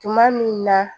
Tuma min na